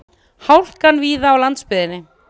Hálka víða á landsbyggðinni